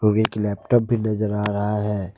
और एक लैपटॉप भी नजर आ रहा है।